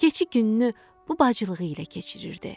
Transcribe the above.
Keçi gününü bu bacılığı ilə keçirirdi.